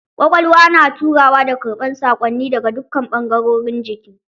Ƙwaƙwalwa na turawa da karɓar sakonni daga dukkan bangarorin jiki.